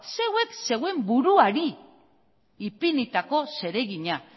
zeuek zeuen buruari ipinitako zeregina